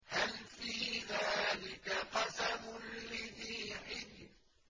هَلْ فِي ذَٰلِكَ قَسَمٌ لِّذِي حِجْرٍ